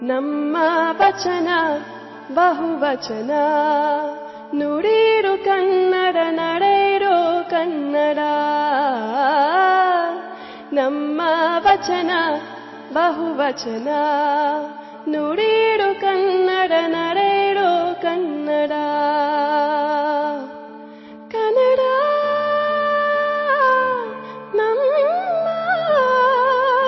MKB E P 105 audio byte 2